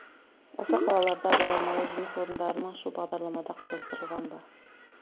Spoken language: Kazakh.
осы қалаларда баламалы жұмыс орындарын ашу бағдарламада қарастырылған ба